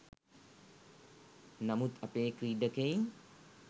නමුත් අපේ ක්‍රීඩකයින්